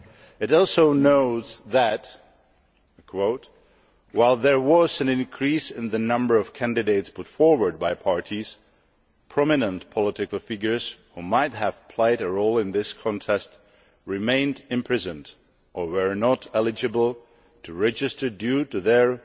It also notes that while there was an increase in the number of candidates put forward by parties, prominent political figures who might have played a role in this context remained imprisoned or were not eligible to register due to their